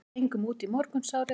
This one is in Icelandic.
Við gengum út í morgunsárið.